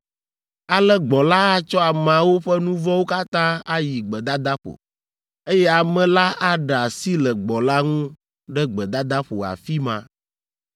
Ale gbɔ̃ la atsɔ ameawo ƒe nu vɔ̃wo katã ayi gbedadaƒo, eye ame la aɖe asi le gbɔ̃ la ŋu ɖe gbedadaƒo afi ma.